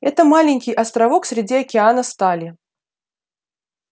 это маленький островок среди океана стали